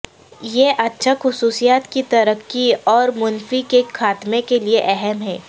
یہ اچھا خصوصیات کی ترقی اور منفی کے خاتمے کے لیے اہم ہے